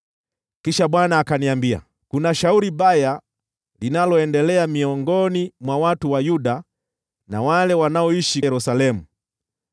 Kisha Bwana akaniambia, “Kuna shauri baya linaloendelea miongoni mwa watu wa Yuda na wale wanaoishi Yerusalemu.